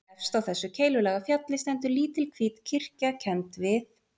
Efst á þessu keilulaga fjalli stendur lítil hvít kirkja kennd við